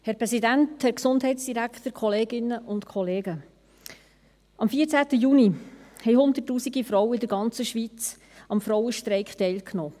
Am 14. Juni 2019 nahmen hunderttausende Frauen in der der ganzen Schweiz am Frauenstreik teil.